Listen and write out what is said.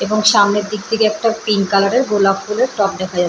এবং সামনের দিক থেকে একটা পিঙ্ক কালার -এর গোলাপ ফুলের টব দেখা যাচ্ছে ।